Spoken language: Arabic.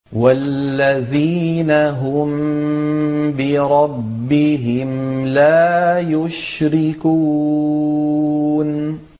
وَالَّذِينَ هُم بِرَبِّهِمْ لَا يُشْرِكُونَ